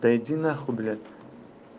да иди нахуй блять